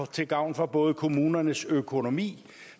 til gavn for både kommunernes økonomi